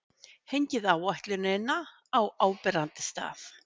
Hengið áætlunina á áberandi stað.